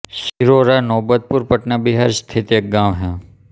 चिरौरा नौबतपुर पटना बिहार स्थित एक गाँव है